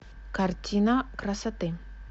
картина красоты